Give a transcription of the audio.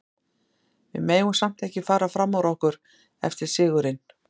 Við megum samt ekki fara fram úr okkur eftir sigurinn.